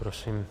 Prosím.